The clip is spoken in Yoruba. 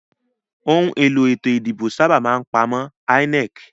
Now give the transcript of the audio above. Òhun èlò ètò ìdìbò sábà máa n ipàmò INEC